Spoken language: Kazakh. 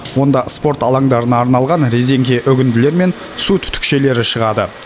онда спорт алаңдарына арналған резеңке үгінділері мен су түтікшелері шығады